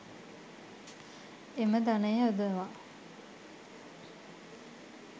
එම ධනය යොදවා